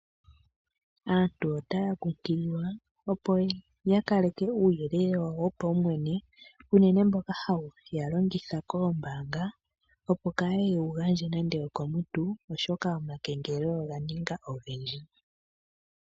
Aantu otaya kunkililwa opo yakaleke uuyelele wawo wopumwene unene mboka hawu longithwa koombaanga opo kaye wugandje nando okomuntu oshoka omakengelelo oganinga ogendji.